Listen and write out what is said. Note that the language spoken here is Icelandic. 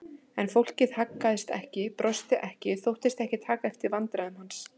En fólkið haggaðist ekki, brosti ekki, þóttist ekki taka eftir vandræðum hans.